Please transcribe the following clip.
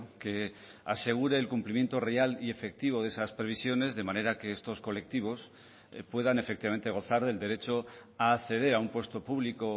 que asegure el cumplimiento real y efectivo de esas previsiones de manera que estos colectivos puedan efectivamente gozar del derecho a acceder a un puesto público